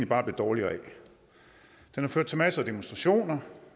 bare blev dårligere af den har ført til masser af demonstrationer